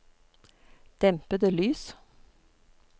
dempede lys